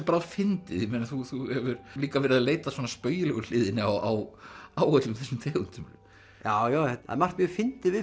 bráðfyndið þú hefur líka verið að leita að spaugilegu hliðinni á öllum þessum tegundum já það er margt mjög fyndið við